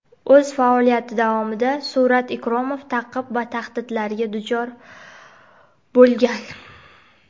O‘z faoliyati davomida Surat Ikromov ta’qib va tahdidlarga ham duchor bo‘lgan.